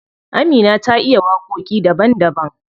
Amina ta iya waƙoƙi daban daban.